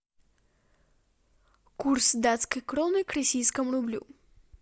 курс датской кроны к российскому рублю